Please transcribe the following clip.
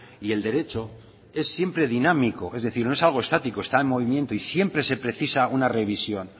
y el derecho es siempre dinámico es decir no es algo estático está en movimiento y siempre se precisa una revisión